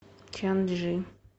чанчжи